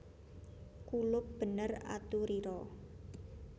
Kulup bener aturira